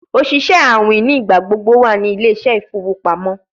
Oṣiṣẹ awin nigbagbogbo wa ni Ile ise ifowo pamo